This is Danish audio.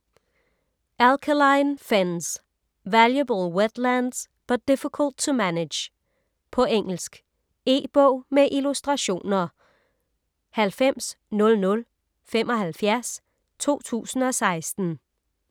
Alkaline fens: Valuable wetlands but difficult to manage På engelsk. E-bog med illustrationer 900075 2016.